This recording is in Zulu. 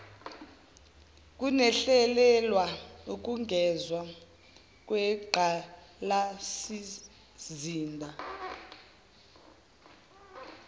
kuhlelelwa ukwengezwa kwenqgalasizinda